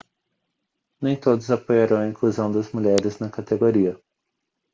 nem todos apoiaram a inclusão das mulheres na categoria